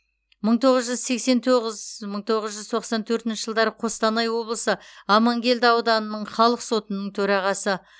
мың тоғыз жүз сексен тоғыз мың тоғыз жүз тоқсан төртінші жылдары қостанай облысы амангелді ауданының халық сотының төрағасы